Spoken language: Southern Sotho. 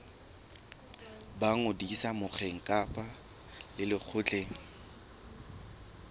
ba ngodiso mokgeng kapa lekgotleng